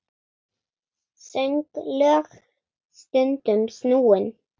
Sönglög stundum snúin.